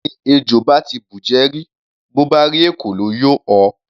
Ẹni ejò bá ti bùjẹ rí, bó bá rí ekòló, yóò họ.